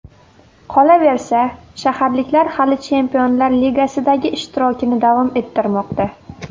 Qolaversa, shaharliklar hali Chempionlar Ligasidagi ishtirokini davom ettirmoqda.